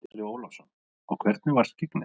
Andri Ólafsson: Og hvernig var skyggnið?